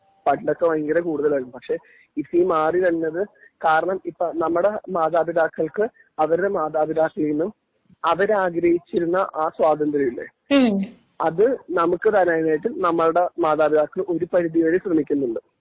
പണ്ടൊക്കെ ഭയങ്കര കൂടുതലായിരുന്നു പക്ഷേ ഇപ്പോ ഈ മാറി വരുന്നത് കാരണം ഇപ്പോ നമ്മടെ മാതാപിതാക്കൽക്ക് അവരുടെ മാതാപിതാക്കളില് നിന്നും അവരാഗ്രഹിച്ചിരുന്ന ആ സ്വാതന്ത്ര്യം ഇല്ലേ അത് നമുക്ക് തരാനായിട്ട് നമ്മുടെ മാതാപിതാക്കള് ഒരു പരിധിവരെ ശ്രമിക്കുന്നുണ്ട്